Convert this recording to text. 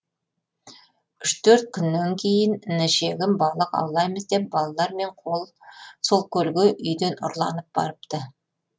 үш төрт күннен кейін інішегім балық аулаймыз деп балалармен сол көлге үйден ұрланып барыпты